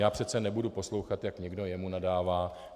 Já přece nebudu poslouchat, jak někdo jemu nadává.